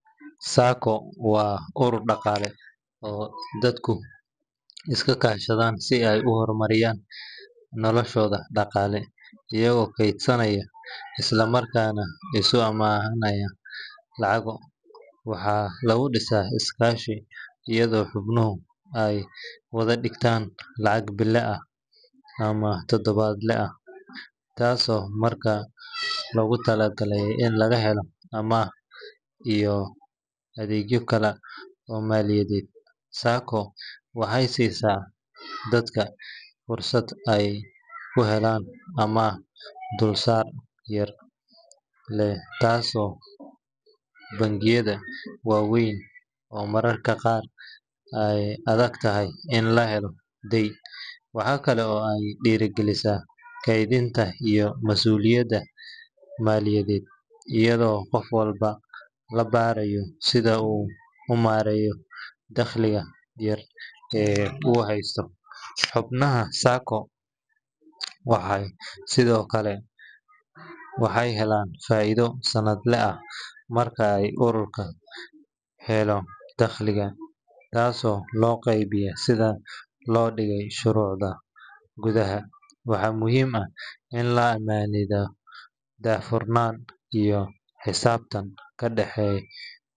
SACCO waa urur dhaqaale oo dadku iska kaashadaan si ay u horumariyaan noloshooda dhaqaale iyagoo kaydsanaya isla markaana isu amaahanaya lacago. Waxaa lagu dhisaa iskaashi, iyadoo xubnuhu ay wada dhigtaan lacag bille ah ama toddobaadle ah, taasoo markaas loogu talagalay in laga helo amaah iyo adeegyo kale oo maaliyadeed. SACCO waxay siisaa dadka fursad ay ku helaan amaah dulsaarka yar leh, taasoo ka duwan bangiyada waaweyn oo mararka qaar ay adagtahay in la helo deyn. Waxaa kale oo ay dhiirrigelisaa kaydinta iyo mas’uuliyadda maaliyadeed, iyadoo qof walba la barayo sida uu u maareeyo dakhliga yar ee uu heysto. Xubnaha SACCO sidoo kale waxay helaan faa’iido sannadle ah marka ay ururku helo dakhliga, taasoo loo qaybiyaa sida loo dhigay shuruucda gudaha. Waxaa muhiim ah in la aaminaado, daahfurnaan iyo xisaabtan ka dhexEYO.